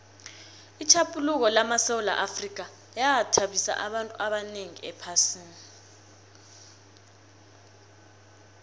itjhaphuluko lamasewula afrika yathabisa abantu abanengi ephasini